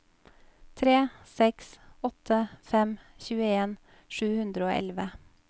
tre seks åtte fem tjueen sju hundre og elleve